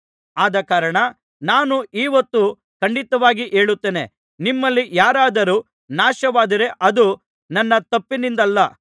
ಆದಕಾರಣ ನಾನು ಈ ಹೊತ್ತು ಖಂಡಿತವಾಗಿ ಹೇಳುತ್ತೇನೆ ನಿಮ್ಮಲ್ಲಿ ಯಾರಾದರೂ ನಾಶವಾದರೆ ಅದು ನನ್ನ ತಪ್ಪಿನಿಂದಲ್ಲ